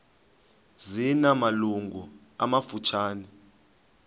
zina malungu amafutshane